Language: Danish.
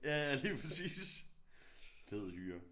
Ja ja lige præcis fed hyre